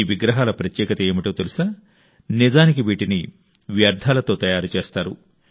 ఈ విగ్రహాల ప్రత్యేకత ఏంటో తెలుసా నిజానికి వీటిని చెత్తతో తయారు చేస్తారు